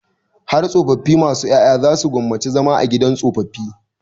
Har tsofaffi masu ƴaƴa za su gwammaci zama a gidan tsofaffi.